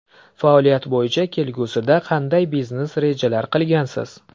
Faoliyat bo‘yicha kelgusida qanday biznes rejalar qilgansiz?